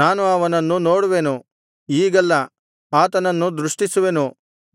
ನಾನು ಅವನನ್ನು ನೋಡುವೆನು ಈಗಲ್ಲ ಆತನನ್ನು ದೃಷ್ಟಿಸುವೆನು